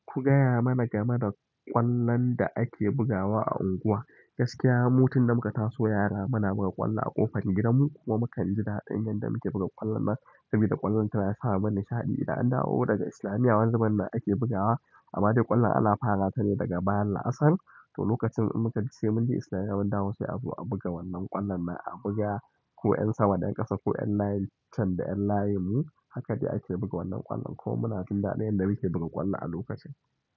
Ku gaya mana game da ƙwallon da ake bugawa a unguwa. Gaskiya mu tunda muka taso yara muna buga ƙwallo a ƙofar gidanmu kuma mu kan ji daɗin yadda muke buga ƙwallon nan. Saboda ƙwallon tana sa mu nishaɗi. Idan an dawo daga islamiyya, wani zubin nan ake bugawa. Amma dai ƙwallon ana fara ta ne daga bayan la'asar. To lokacin in muka, sai mun je islamiyya, mun dawo sai a zo a buga wannan ƙwallon nan a buga ku 'yan sama, da yan ƙasa, ku 'yan layin can da 'yan layin mu. Haka dai ake buga wannan ƙwallon kuma muna jin daɗin yadda muke buga ƙwallon a lokacin.